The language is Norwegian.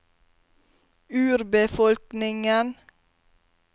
urbefolkningen